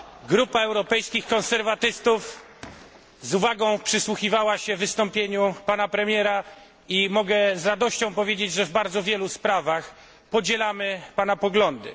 Grupa Europejskich Konserwatystów z uwagą przysłuchiwała się wystąpieniu pana premiera i mogę z radością powiedzieć, że w bardzo wielu sprawach podzielamy pana poglądy.